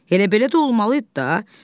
Elə belə də olmalı idi də.